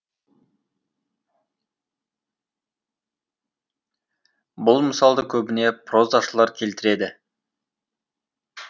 бұл мысалды көбіне прозашылар келтіреді